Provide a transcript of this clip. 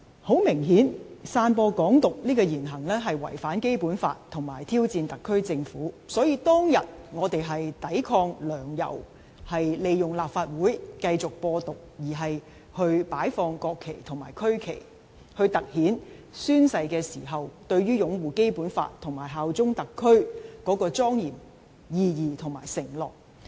很明顯，散播"港獨"這言行違反《基本法》並挑戰特區政府，所以當日我們是為抵抗"梁、游"利用立法會繼續"播獨"而擺放國旗及區旗，從而突顯宣誓時對擁護《基本法》及效忠特區的莊嚴意義和承諾。